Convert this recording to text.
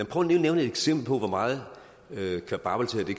prøve at nævne et eksempel på hvor meget kvababbelse det